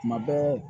Tuma bɛɛ